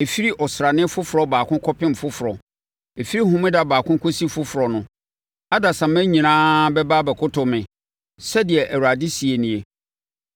“Ɛfiri Ɔsrane Foforɔ baako kɔpem foforɔ, ɛfiri Homeda baako kɔsi foforɔ no, adasamma nyinaa bɛba abɛkoto me,” sɛdeɛ Awurade seɛ nie.